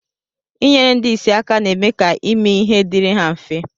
Inyere ndi isi aka na-eme ka ime ihe diri ha mfe